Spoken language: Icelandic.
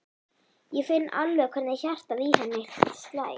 Ég finn alveg hvernig hjartað í henni slær.